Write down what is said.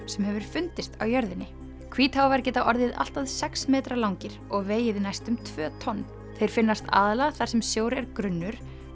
sem hefur fundist á jörðinni geta orðið allt að sex metra langir og vegið næstum tvö tonn þeir finnast aðallega þar sem sjór er grunnur